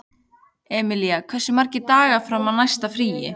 Emilía, hversu margir dagar fram að næsta fríi?